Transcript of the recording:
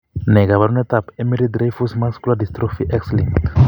Ne kaabarunetap Emery Dreifuss muscular dystrophy, X linked?